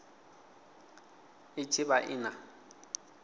i tshi vha i na